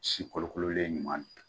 Si kolokololen ɲuman